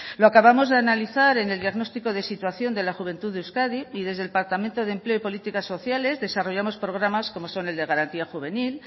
lo acabamos de analizar en el diagnóstico de situación de la juventud de euskadi y desde el departamento de empleo y políticas sociales desarrollamos programas como son el de garantía juvenil